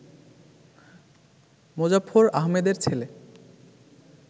মোজাফফর আহমেদের ছেলে